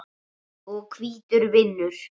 og hvítur vinnur.